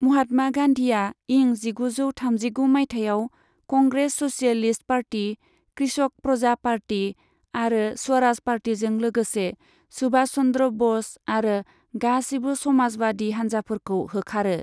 महात्मा गान्धिआ इं जिगुजौ थामजिगु माइथायाव Congress socialist party, Krishak Praja party आरो स्वराज पार्टीजों लोगोसे सुभाष चन्द्र ब'स आरो गासिबो समाजवादि हान्जाफोरखौ होखारो।